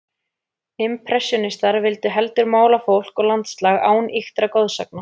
Impressjónistarnir vildu heldur mála fólk og landslag án ýktra goðsagna.